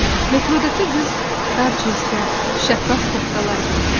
Metroda ki qız dar cinslər, şəffaf koftalar geyinərdi.